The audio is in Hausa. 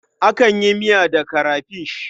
Akan yi miya da karafish.